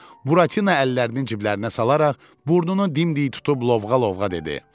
Buratino əllərini ciblərinə salaraq burnunu dimdik tutub lovğa-lovğa dedi: